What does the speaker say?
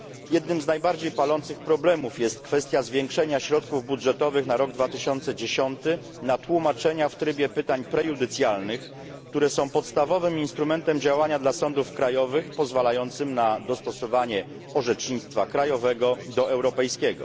Jednym z najbardziej palących problemów jest kwestia zwiększenia środków budżetowych na rok 2010 na tłumaczenia w trybie pytań prejudycjalnych, które są podstawowym instrumentem działania dla sądów krajowych, pozwalającym na dostosowanie orzecznictwa krajowego do europejskiego.